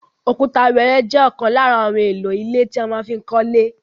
Òkúta wẹ́ẹ́rẹ́ jẹ́ ọ̀kan lára ohun èlò ilẹ̀ tí a má fi kọ́lé.